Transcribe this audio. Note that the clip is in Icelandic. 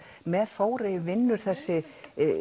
með Þórey vinnur þessi